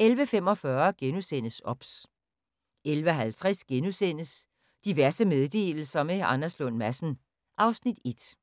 11:45: OBS * 11:50: Diverse meddelelser – med Anders Lund Madsen (Afs. 1)*